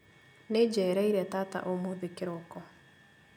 Nĩnjereire tata ũmũthĩ kĩroko